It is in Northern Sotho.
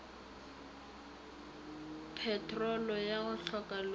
petrolo ya go hloka loto